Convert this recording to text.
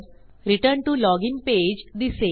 return to login page दिसेल